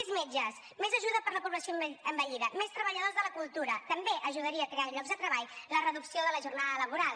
més metges més ajuda per a la població envellida més treballadors de la cultura també ajudaria a crear llocs de treball la reducció de la jornada laboral